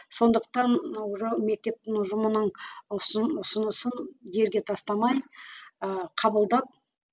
сондықтан мектептің ұжымының ұсынысын жерге тастамай ыыы қабылдап